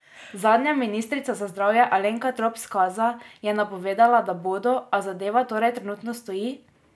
Zadnja ministrica za zdravje Alenka Trop Skaza je napovedovala, da bodo, a zadeva torej trenutno stoji?